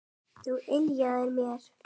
Það yljaði mér.